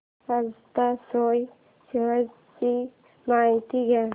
Ajanta soya shares ची माहिती द्या